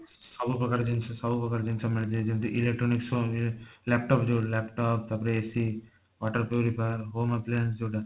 ସବୁ ପ୍ରକାର ଜିନିଷ ସବୁ ପ୍ରକାର ଜିନିଷ ମିଳିଥାଏ ଯେମିତି electronics ହୁଏ laptop ଯୋଊ laptop ତାପରେ AC water ପାଇଁ ହଉ home appliance ଯୋଊଟା